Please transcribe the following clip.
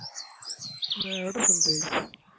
হ্যাঁ এটা শুনতে পাইছি